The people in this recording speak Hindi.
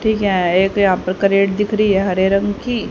ठीक है एक यहा पे कैरेट दिख रही है यहां पे हरे रंग की।